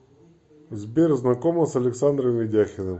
сбер знакома с александром ведяхиным